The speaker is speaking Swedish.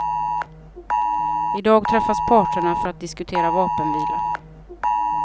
I dag träffas parterna för att diskutera vapenvila.